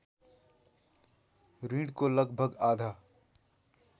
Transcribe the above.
ॠणको लगभग आधा